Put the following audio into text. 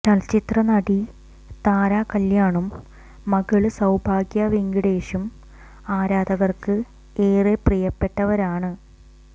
ചലചിത്ര നടി താരകല്യാണും മകള് സൌഭാഗ്യ വെങ്കിടേഷും ആരാധകര്ക്ക് ഏറെ പ്രിയപ്പെട്ടവരാണ്